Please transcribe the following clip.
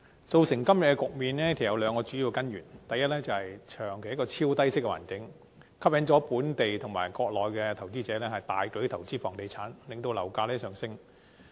造成今天的局面，有兩個主要根源，第一，香港長期處於超低息環境，吸引本地和國內投資者大舉投資房地產，令樓價上升。